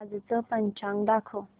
आजचं पंचांग दाखव